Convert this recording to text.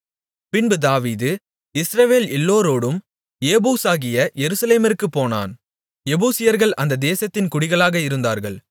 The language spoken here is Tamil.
பின்பு தாவீது இஸ்ரவேல் எல்லோரோடும் ஏபூசாகிய எருசலேமிற்குப் போனான் எபூசியர்கள் அந்த தேசத்தின் குடிகளாக இருந்தார்கள்